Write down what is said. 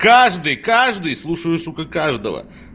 каждый каждый слушаю сука каждого